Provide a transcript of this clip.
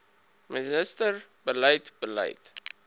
minister beleid beleid